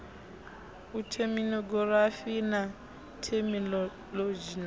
a theminogirafi na theminolodzhi na